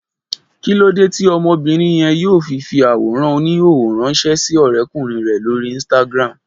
Kí lóde tí ọmọbìnrin yẹn yóò fi fi àwòrán oníhòòhò ránṣẹ́ sí ọrẹ́kùnrin rẹ̀ lórí Instagram